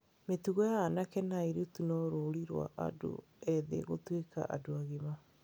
Mĩtugo ya anake na airĩtu no rũri rwa andũ ethĩ gũtuĩka andũ agima.